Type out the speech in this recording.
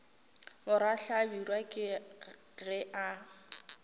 morwa hlabirwa ke ge a